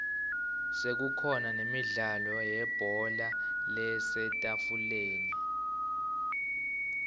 sekukhona nemdlalo webhola lasetafuleni